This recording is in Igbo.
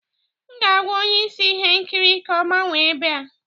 M ga-agwa onye isi ihe nkiri ka ọ gbanwee ebe a